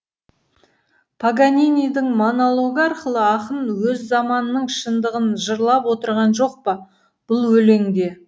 паганинидің монологы арқылы ақын өз заманының шындығын жырлап отырған жоқ па бұл өлеңде